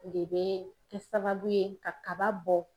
de bɛ kɛ sababu ye ka kaba bɔ